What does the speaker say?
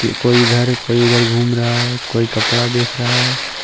कोई घर कोई उधर घूम रहा है कोई कपड़ा देख रहा है।